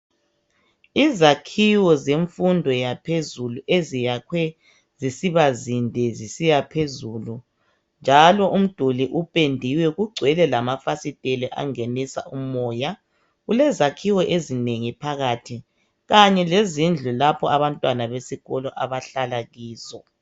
Izakhiwo zemfundo yaphezulu esiyakhwe zisiba zinde zisiya phezulu .Njalo umduli upendiwe kugcwele lama fasiteli angenisa umoya .Kulezakhiwo ezinengi phakathi .Kanye lezindlu lapho abantwana besikolo abahlala kizo .